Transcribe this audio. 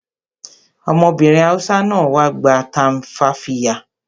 Ọmọbìnrin Hausa náà wá gba tumfafiya